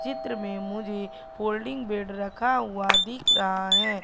चित्र में मुझे फोल्डिंग बेड रखा हुआ दिख रहा है।